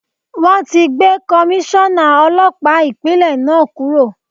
Wọn ti gbé Komíṣọ́nà Ọlọ́pàá Ìpínlẹ̀ náà kúrò.